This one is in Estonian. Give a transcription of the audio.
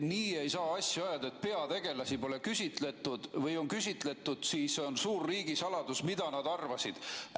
Nii ei saa asju ajada, et peategelasi pole küsitletud või kui on küsitletud, siis see on suur riigisaladus, mida nad arvasid.